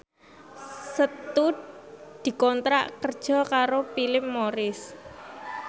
Setu dikontrak kerja karo Philip Morris